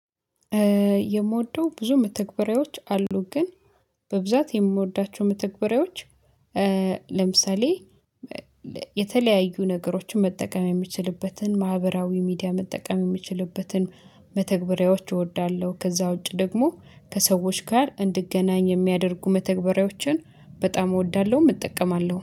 የምወደው ብዙ መተግበሪያዎች አሉ ግን በብዛት የምወዳቸው መተግበሪያዎች ለምሳሌ የተለያዩ ነገሮችን መጠቀም የምችልበትን ማህበራዊ ሚዲያ መጠቀም የምችልበትን መተግበሪያዎች እወዳለሁ ከዛ ውጪ ደግሞ ከሰዎች ጋር እንድገናኝ የሚያደርጉ መተግበሪያዎችን በጣም እወዳለሁ እጠቀማለሁ።